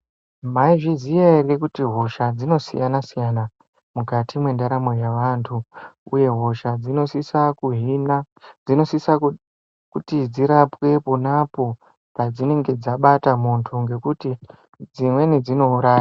Mwaizviziya ere kuti hosha dzinosiyana-siyana mukati mwendaramo yevanhu, uye hosha dzinosisa kuhina, dzinosisa kuti dzirapwe pona po pedzinenge dzabata munthu ngekuti dzimweni dzinouraya.